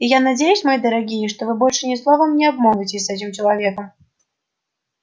и я надеюсь мои дорогие что вы больше ни словом не обмолвитесь с этим человеком